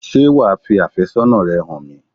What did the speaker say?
Ṣé wà á fi àfẹ́sọ́nà rẹ hàn mi?